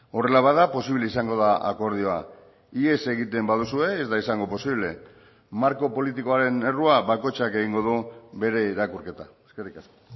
horrela bada posible izango da akordioa ihes egiten baduzue ez da izango posible marko politikoaren errua bakoitzak egingo du bere irakurketa eskerrik asko